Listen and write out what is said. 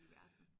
I verden